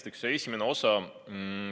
Esiteks, see esimene osa.